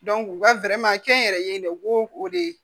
u ka kɛ n yɛrɛ ye dɛ u b'o o de